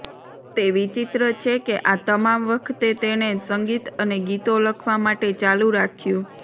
તે વિચિત્ર છે કે આ તમામ વખતે તેણે સંગીત અને ગીતો લખવા માટે ચાલુ રાખ્યું